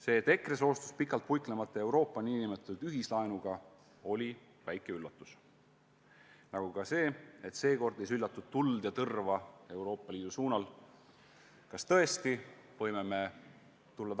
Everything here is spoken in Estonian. See, et EKRE soostus pikalt puiklemata Euroopa nn ühislaenuga, oli väike üllatus, nagu ka see, et sel korral ei süljatudki Euroopa Liidu suunas tuld ja tõrva.